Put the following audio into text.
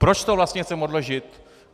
Proč to vlastně chceme odložit?